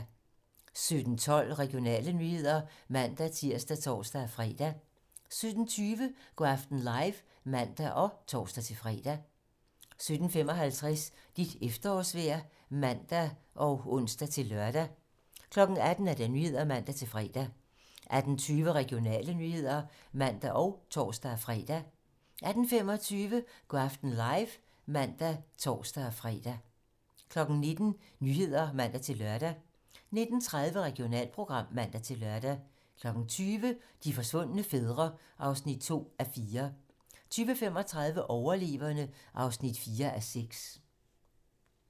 17:12: Regionale nyheder (man-tir og tor-fre) 17:20: Go' aften live (man og tor-fre) 17:55: Dit efterårsvejr (man og ons-lør) 18:00: 18 Nyhederne (man-fre) 18:20: Regionale nyheder (man og tor-fre) 18:25: Go' aften live (man og tor-fre) 19:00: 19 Nyhederne (man-lør) 19:30: Regionalprogram (man-lør) 20:00: De forsvundne fædre (2:4) 20:35: Overleverne (4:6)